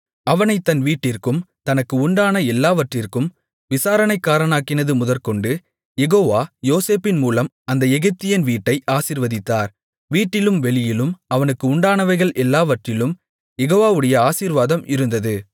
அவனைத் தன் வீட்டிற்கும் தனக்கு உண்டான எல்லாவற்றிற்கும் விசாரணைக்காரனாக்கினது முதற்கொண்டு யெகோவா யோசேப்பின்மூலம் அந்த எகிப்தியன் வீட்டை ஆசீர்வதித்தார் வீட்டிலும் வெளியிலும் அவனுக்கு உண்டானவைகள் எல்லாவற்றிலும் யெகோவாவுடைய ஆசீர்வாதம் இருந்தது